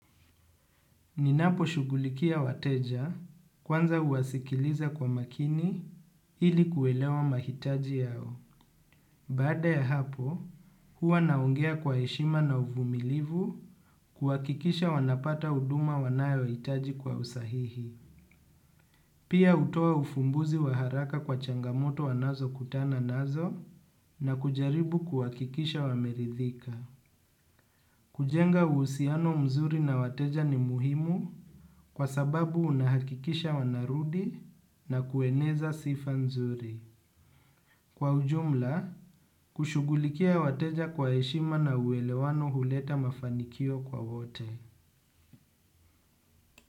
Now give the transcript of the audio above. Ninapo shugulikia wateja kwanza uwasikiliza kwa makini hili kuelewa mahitaji yao. Bada ya hapo, huwa naongea kwa heshima na uvumilivu kuhakikisha wanapata huduma wanayo hitaji kwa usahihi. Pia hutoa ufumbuzi waharaka kwa changamoto wanazo kutana nazo na kujaribu kuwakikisha wameridhika. Kujenga uhsiano mzuri na wateja ni muhimu kwa sababu unahakikisha wanarudi na kueneza sifa nzuri. Kwa ujumla, kushugulikia wateja kwa heshima na uwelewano huleta mafanikio kwa wote.